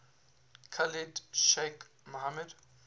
khalid sheikh mohammed